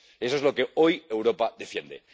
eso es lo que hoy Europa defiende.